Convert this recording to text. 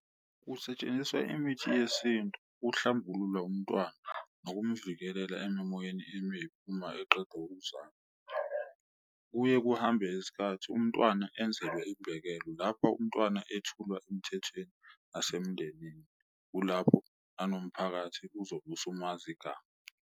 Kusetshenziswa imithi yesintu kuhlambulula umntwana akumvikelela emimoyeni emibi uma eqeda ukuzama, kuye kuhambe isikhathi umntwana enzelwe ibhekelo. Lapho umntwana ethulwa emthethweni nasemndenini, kulapho nanomphakathi uzobe usumazi igama.